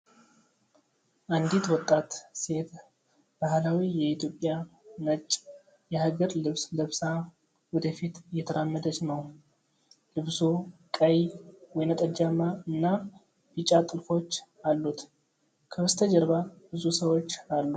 አንዲት ወጣት ሴት ባህላዊ የኢትዮጵያ ነጭ የሐገር ልብስ ለብሳ ወደ ፊት እየተራመደች ነው። ልብሱ ቀይ፣ ወይንጠጃማ እና ቢጫ ጥልፎች አሉት። ከበስተጀርባ ብዙ ሰዎች አሉ።